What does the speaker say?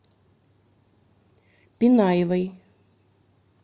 пинаевой